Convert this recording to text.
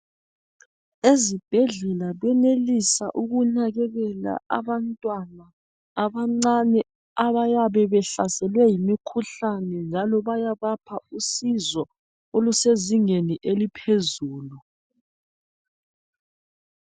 Ezibhedlela benelisa ukunakekela abantwana abancane abayabe behlaselwe yimikhuhlane njalo bayabapha usizo olusezingeni eliphezulu.